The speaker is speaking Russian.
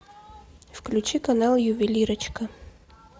включи канал ювелирочка